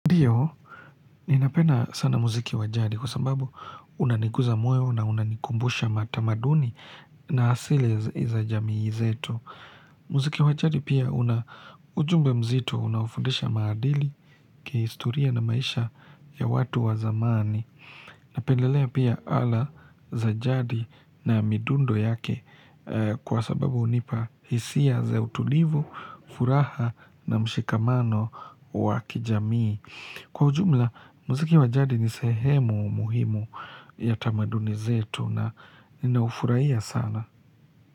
Ndiyo, ninapenda sana muziki wa jadi kwa sababu unaniguza moyo na unanikumbusha tamaduni na asili za jamii zetu. Muziki wa jadi pia una ujumbe mzito, unaofundisha maadili, kihistoria na maisha ya watu wa zamani. Napendelea pia ala za jadi na midundo yake kwa sababu hunipa hisia za utulivu, furaha na mshikamano wa kijamii. Kwa ujumla, muziki wa jadi ni sehemu muhimu ya tamaduni zetu na ninaufurahia sana.